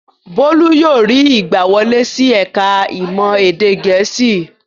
Bólú yóò rí ìgbàwọlé sí ẹ̀ka-ìmọ̀ èdè Gẹ̀ẹ́sì.